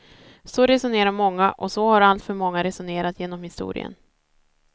Så resonerar många och så har alltför många resonerat genom historien.